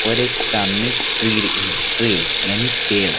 और सामने एक ट्री लगी है ट्री यानी पेड़--